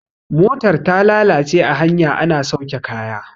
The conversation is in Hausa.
motar ta lalace a hanya ana sauke kaya